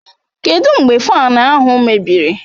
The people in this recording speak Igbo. Kedụ mgbe Faanu ahụ mebiri?